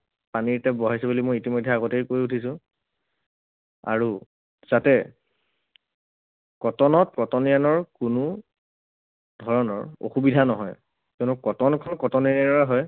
পানীৰ tap বহাইছে বুলি মই ইতিমধ্যেই আগতেই কৈ উঠিছো। আৰু যাতে কটনত কটনিয়ানৰ কোনো ধৰণৰ অসুবিধা নহয়, কিয়নো কটনখন কটনিয়ানৰে হয়,